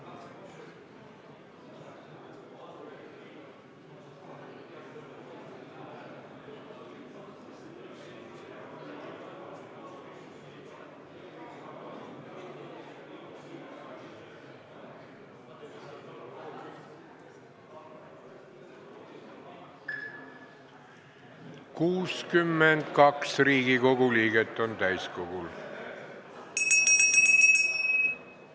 Kohaloleku kontroll 62 Riigikogu liiget on täiskogul.